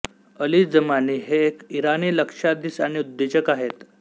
Ali Jamani हे एक इराणी लक्षाधीश आणि उद्योजक आहेत